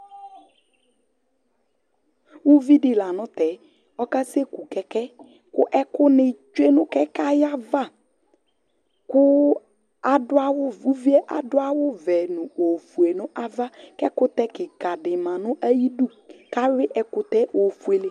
Uvi di la n'tɛ, ɔka seku kɛkɛ̃, ku ɛku ni tsue nu kɛkɛ̃ ayava ku adu awù uvie adu awù vɛ n'ofue du nu ava k'ɛkutɛ kika di ma n'ayi idú, k'awui ɛkutɛ̃ ofuele